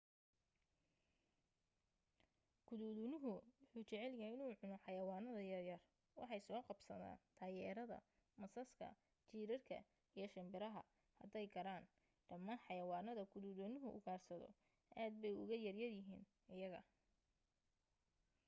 guduudanuhu wuxu jecel yahay inuu cuno xayawaanada yaryar waxay soo qabsadaan daayeerada masaska jiirarka iyo shimbiraha hadday karaan dhammaan xayawaanada guduudanuhu ugaarsado aad bay uga yar yihiin iyaga